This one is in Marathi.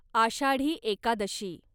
आषाढी एकादशी